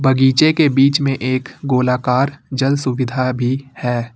बगीचे के बीच में एक गोलाकार जल सुविधा भी है।